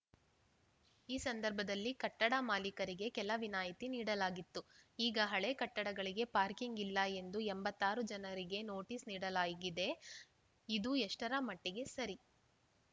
ಈ ಸಂದರ್ಭದಲ್ಲಿ ಕಟ್ಟಡ ಮಾಲೀಕರಿಗೆ ಕೆಲ ವಿನಾಯತಿ ನೀಡಲಾಗಿತ್ತು ಈಗ ಹಳೆ ಕಟ್ಟಡಗಳಿಗೆ ಪಾರ್ಕಿಂಗ್‌ ಇಲ್ಲ ಎಂದು ಎಂಬತ್ತ್ ಆರು ಜನರಿಗೆ ನೋಟೀಸ್‌ ನೀಡಲಾಗಿದೆ ಇದು ಎಷ್ಟರ ಮಟ್ಟಿಗೆ ಸರಿ